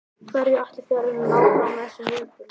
Hverju ætlið þið að reyna að ná fram með þessum viðburði?